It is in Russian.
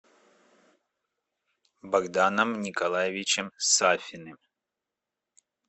богданом николаевичем сафиным